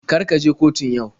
Kar ka je kotun yau.